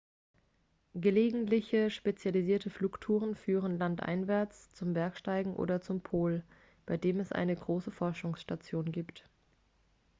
gelegentliche spezialisierte flugtouren führen landeinwärts zum bergsteigen oder zum pol bei dem es eine große forschungsstation gibt